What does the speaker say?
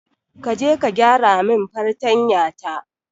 Kaje ka gyaramin fartanya ta.